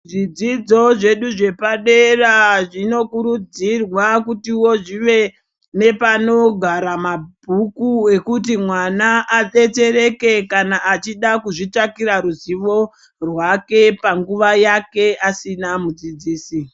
Zvidzidzo zvedu zvepadera zvinokurudzirwa kutiwo zvive nepanogara mabhuku ekuti mwana adetsereke kana achida kuzvitsvagira ruzivo rwake panguva yake asina mudzidzisi.